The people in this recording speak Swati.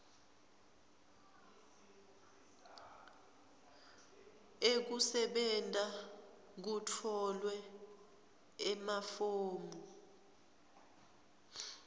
ekusebenta kutfolwe emafomu